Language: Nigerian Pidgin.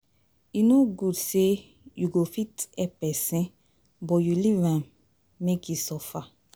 E no good say you go fit help pesin but you leave am make e suffer